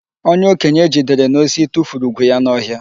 Onye okenye e jidere n'osi tufuru ugwu ya n'ọhịa.